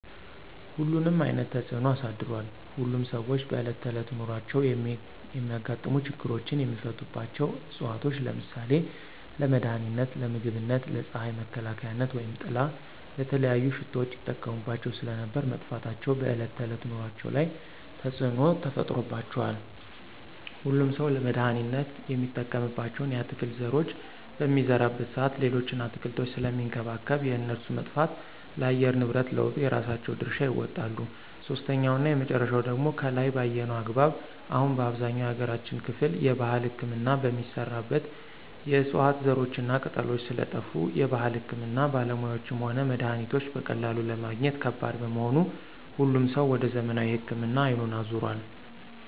ሁሉንም አይነት ተፅኖ አሳድሯል። ሁሉም ሰዎች በእለት ተዕለት ኑሯቸው የሚያጋጥሙ ችግሮችን የሚፈቱባቸው ዕፅዋቶች ለምሳሌ :- ለመድሀኒትነት, ለምግብነት, ለፅሀይ መከላከያነት/ጥላ/,ለተለያዩ ሽቶዎች ይጠቀሙባቸው ስለነበር መጥፋታቸው በዕለት ከዕለት ኑሮአቸው ላይ ተፅዕኖ ተፈጥሮባቸዋል። ሁሉም ሠው ለመድሀኒትነት የሚጠቀምባቸውን የአትክልት ዘሮች በሚዘራበት ሰአት ሌሎችን አትክልቶች ስለሚንከባከብ የእነሱ መጥፋት ለአየር ንብረት ለውጡ የራሳቸውን ድርሻ ይወጣሉ። ሶስተኛውና የመጨረሻው ደግሞ ከላይ በአየነው አግባብ አሁን በአብዛኛው የሀገራችን ክፍል የባህል ህክምና የሚሰራበት የዕፅዋት ዘሮችና ቅጠሎች ስለጠፍ የባህል ህክምና ባለሙያዎችም ሆነ መድሀኒቶች በቀላሉ ለማግኘት ከባድ በመሆኑ ሁሉም ሰው ወደ ዘመናዊ ህክምና አይኑን አዞሯል።